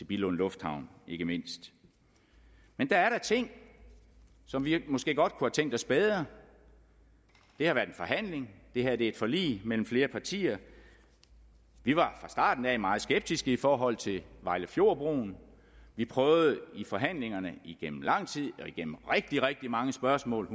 billund lufthavn ikke mindst men der er da ting som vi måske godt kunne have tænkt os bedre det har været en forhandling det her er et forlig mellem flere partier vi var fra starten af meget skeptiske i forhold til vejlefjordbroen vi prøvede i forhandlingerne igennem lang tid og igennem rigtig rigtig mange spørgsmål